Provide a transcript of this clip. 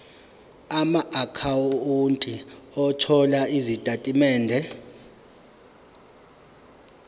amaakhawunti othola izitatimende